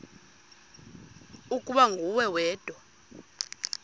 ukuba nguwe wedwa